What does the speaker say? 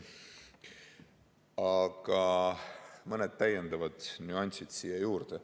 Aga lisan mõned täiendavad nüansid siia juurde.